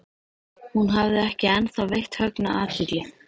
Hún hafði ekki ennþá veitt Högna athygli.